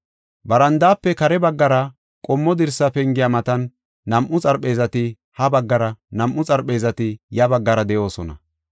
Barandaafe kare baggara qommo dirsa pengiya matan nam7u xarpheezati ha baggara, nam7u xarpheezati ya baggara de7oosona.